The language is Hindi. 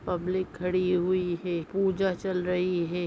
पब्लिक खड़ी हुई है पूजा चल रही है।